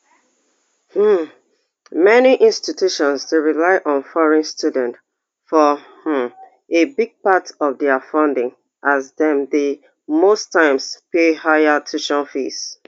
um many institutions dey rely on foreign students for um a big part of dia funding as dem dey most times pay higher tuition fees